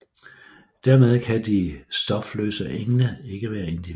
Dermed kan de stofløse engle ikke være individer